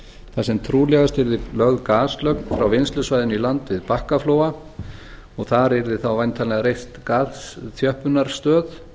þar sem trúlegast yrði lögð gaslögn frá vinnslusvæðinu í land við bakkaflóa og þar yrði þá væntanlega reist gasþjöppunarstöð